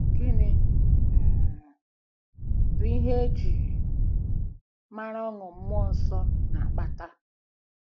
Gịnị um bụ ihe e ji um mara ọṅụ mmụọ nsọ na-akpata?